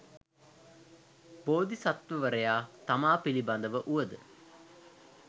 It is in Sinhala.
බෝධි සත්වවරයා තමා පිළිබඳව වුවද